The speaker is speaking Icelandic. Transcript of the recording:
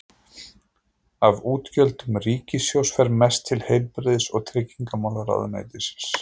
Af útgjöldum ríkissjóðs fer mest til heilbrigðis- og tryggingamálaráðuneytis.